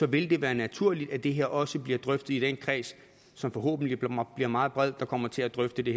vil det være naturligt at det her også bliver drøftet i den kreds som forhåbentlig bliver meget bred der kommer til at drøfte det